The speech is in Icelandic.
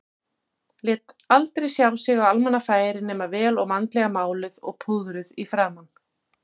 Lét aldrei sjá sig á almannafæri nema vel og vandlega máluð og púðruð í framan.